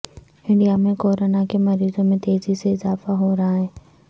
India میں corona کے مریضوں میں تیزی سے اضافہ ہو رہا ہے